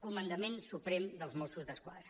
comandament suprem dels mossos d’esquadra